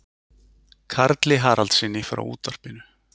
Karli Haraldssyni frá útvarpinu.